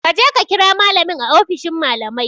Kaje ka kira malamin a ofishin malamai